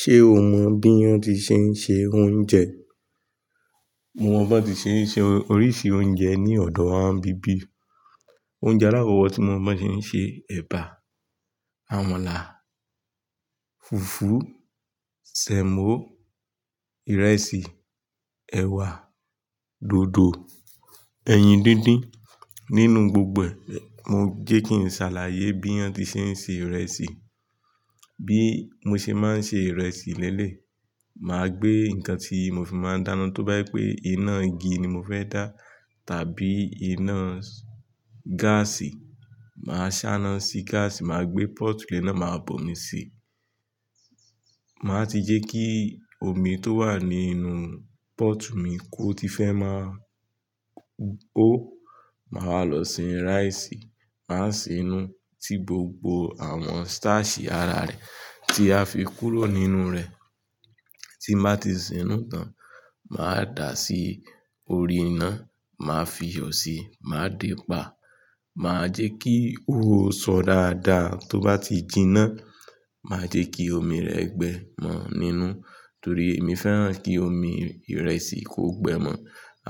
Ṣé o mọ bí wọ́n ti ṣe ń ṣe oúnjẹ? Mo mọ bá ti ṣe ń ṣe oríṣi oúnjẹ ní ọ̀dọ̀ wa bíbí. Oúnjẹ alákoko tí mo mọ̀ bí wọ́n ti ń ṣe ẹ̀bà, àmàlà, fùfú, sẹ̀mọ́, ìrẹsì, ẹ̀wà, dòdò, ẹyin díndín. Nínú gbogbo, mo jẹ́ kí n ṣàlàyé bí wọ́n ti ṣe ń se ìrẹsì. Bí mo ṣe má ń ṣe ìrẹsì lélé, màá gbé nǹkan tí mo fi máa dáná, tó bá y pé iná igi ni mo fẹ́ dá tàbí iná gáàsì, màá ṣáná sí gáàsì, màá gbé pọ́tù lénà máa bo mi si. Màá ti jẹ́ kí omi tó wà nínú pọ́tù mi kó ti fẹ́ máa hó, màá lọ sin rice, màá sinú tí gbogbo àwọn starch àrà rẹ̀ tí a fi kúrò nínú rẹ̀. Tí màá ti sinú tán, màá dà á sí orí iná, màá fi yọ̀ síi, màá dé pà á, màá jẹ́ kí ó sọ dáadáa. Tó bá ti jinná, màá jẹ́ kí omi rẹ̀ gbẹ mọ́ nínú, torí èmi fẹ́ràn kí omi ìrẹsì kó gbẹ mọ́.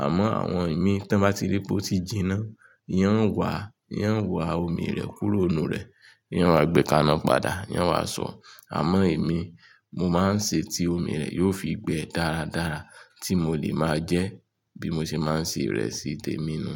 Àmọ́ àwọn ìmí tí wọ́n bá ti rí pé ó ti jinná, ìyẹn ó wàá, ìyẹn ó wàá omi rẹ̀ kúrò nínú rẹ̀, ìyẹn wá gbẹ kàná padà, ìyẹn wàá sọ. Àmọ́ èmi, mo máa ń ṣe tí omi rẹ̀ yóò fi gbẹ dáradára tí mo lè máa jẹ́ bí mo ṣe máa ń se ìrẹsì tèmi nu.